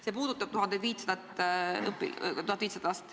See puudutab 1500 last.